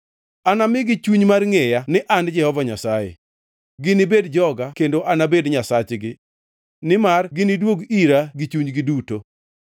Anamigi chuny mar ngʼeya ni an Jehova Nyasaye. Ginibed joga kendo anabed Nyasachgi, nimar giniduog ira gi chunygi duto.’